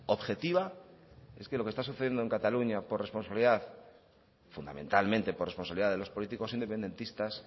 objetiva es que lo que está sucediendo en cataluña por responsabilidad fundamentalmente por responsabilidad de los políticos independentistas